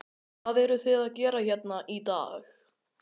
Hvað eruð þið að gera hérna í dag?